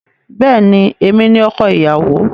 Bẹ́ẹ̀ni, èmi ni ọkọ ìyàwó.